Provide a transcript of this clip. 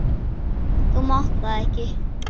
Þú mátt það ekki!